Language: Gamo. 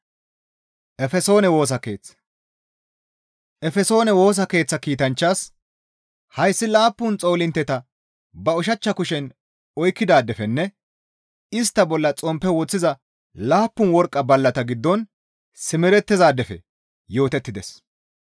«Efesoone Woosa Keeththa kiitanchchaas, ‹Hayssi laappun xoolintteta ba ushachcha kushen oykkidaadefenne istta bolla xomppe woththiza laappun worqqa ballata giddon simerettizaadefe yootettides.